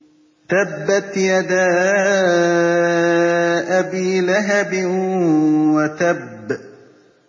تَبَّتْ يَدَا أَبِي لَهَبٍ وَتَبَّ